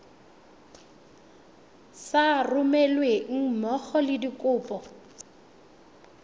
sa romelweng mmogo le dikopo